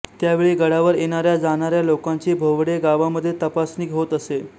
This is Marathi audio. त्यावेळी गडावर येणाऱ्या जाणाऱ्या लोकांची भोवडे गावामध्ये तपासणी होत असे